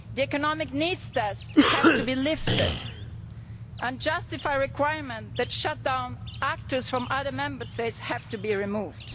The economic needs tests have to be lifted, and unjustified requirements that shut down operators from other Member States have to be removed.